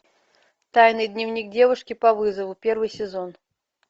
тайный дневник девушки по вызову первый сезон